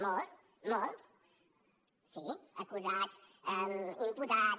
molts molts sí acusats imputats